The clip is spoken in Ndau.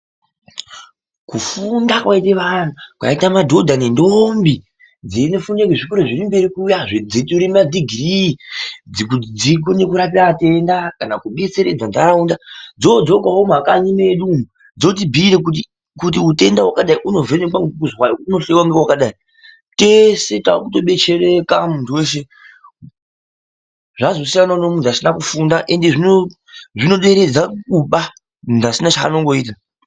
Kufunda kwaita vanthu, kwaita madhodha nendombi, dzeyino funda kuzvikora zviri mberi kuya dzeyi tora madhigirii kuti dzikone kurapa atenda kana kubetseredza ndaraunda. Dzoodzokawo mumakanyi medu umu, dzotibhiyira kuti utenda hwakadai hunovhenekwa ngekuzwai unohloyiwa ngewakadai. Tese takuto betsereka munthu wese, zvazosiyanawo nemunthu asina kufunda, ende zvinoderedza kuba munthu asina chaanongoita